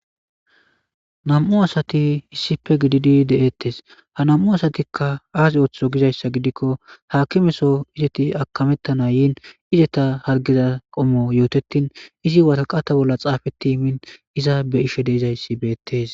nam7u asati issife gididi de7ettes ha nam7u asatikka aas ooththo gizayssa gidikko hakimeso izeti akamettana yiin izeta hargeza qommo yootettin izi wataqata bolla xaafeti min iza be ishe deizayssi beettes